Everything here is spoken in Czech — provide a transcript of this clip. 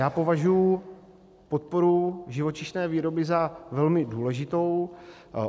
Já považuji podporu živočišné výroby za velmi důležitou.